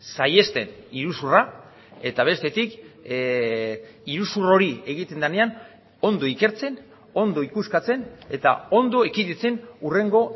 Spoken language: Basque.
saihesten iruzurra eta bestetik iruzur hori egiten denean ondo ikertzen ondo ikuskatzen eta ondo ekiditen hurrengo